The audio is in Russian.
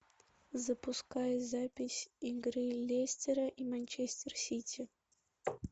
запускай запись игры лестера и манчестер сити